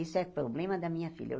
Isso é problema da minha filha.